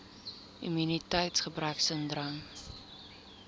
immuniteits gebrek sindroom